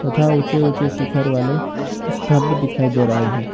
तथा ऊंचे ऊंचे शिखर वाले स्तंभ दिखाई दे रहे हैं।